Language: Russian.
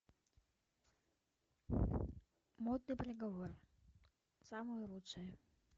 модный приговор самое лучшее